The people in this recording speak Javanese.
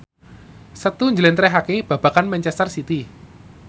Setu njlentrehake babagan manchester city